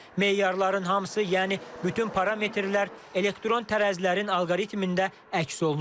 Meyarların hamısı, yəni bütün parametrlər elektron tərəzilərin alqoritmində əks olunub.